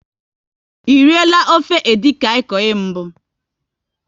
E riela ofe edikaikong mbụ?